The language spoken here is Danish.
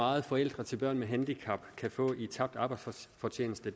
meget forældre til børn med handicap kan få i tabt arbejdsfortjeneste